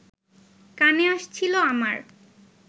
কানে আসছিল আমার